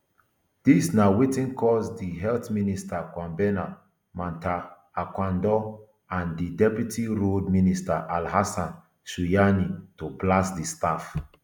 dis na wetin cause di health minister kwabena mintah akandoh and di deputy roads minister alhassan suhuyini to blast di staff